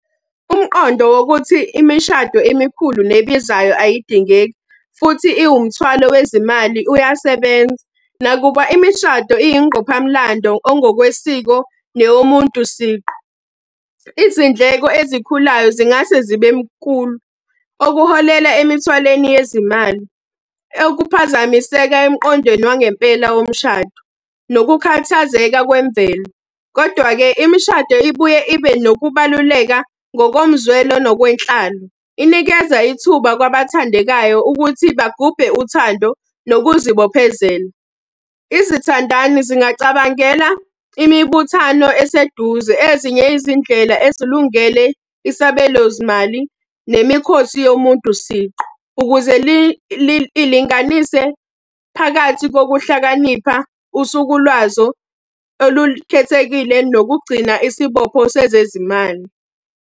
Umqondo wokuthi imishado emikhulu nebizayo ayidingeki, futhi iwumthwalo wezimali uyasebenza. Nakuba imishado iyingqophamlando ongokwesiko neyomuntu siqu, izindleko ezikhulayo zingase zibe nkulu, okuholela emithwaleni yezimali. Okuphazamiseka emqondweni wangempela womshado, nokukhathazeka kwemvelo. Kodwa-ke, imishado ibuye ibe nokubaluleka ngokomzwelo nokwenhlalo. Inikeza ithuba kwabathandekayo ukuthi bagubhe uthando nokuzibophezela. Izithandani zingacabangela imibuthano eseduze, ezinye izindlela ezilungele isabelo zimali nemikhosi yomuntu siqu. Ukuze lilinganise phakathi kokuhlakanipha usuku lwazo olukhethekile nokugcina isibopho sezezimali.